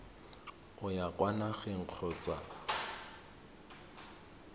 o ya kwa nageng kgotsa